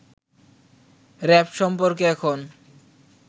RAB সম্পর্কে এখন